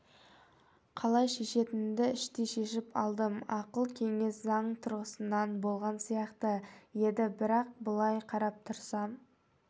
қалай шешетінімді іштей шешіп алдым ақыл-кеңес заң тұрғысынан болған сияқты еді бірақ былай қарап тұрсам